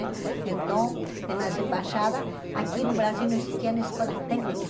Então, e nas embaixadas, aqui no Brasil não existiam escolas técnicas.